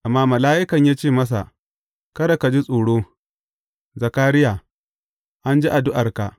Amma mala’ikan ya ce masa, Kada ka ji tsoro, Zakariya; an ji addu’arka.